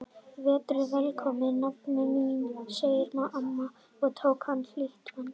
Vertu velkomin nafna mín sagði amma og tók hana í hlýtt fangið.